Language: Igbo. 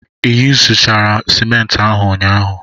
Ị yuzuchara simenti ahụ n'ụnyaahụ?